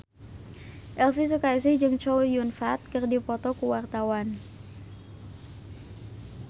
Elvi Sukaesih jeung Chow Yun Fat keur dipoto ku wartawan